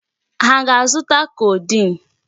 Ha aga-azụta codeine?